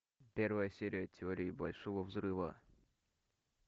первая серия теории большого взрыва